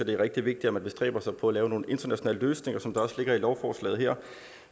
det er rigtig vigtigt at man bestræber sig på at lave nogle internationale løsninger som der også ligger i lovforslagene her